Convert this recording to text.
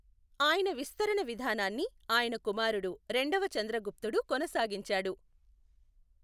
ఆయన విస్తరణ విధానాన్ని ఆయన కుమారుడు రెండవ చంద్రగుప్తుడు కొనసాగించాడు.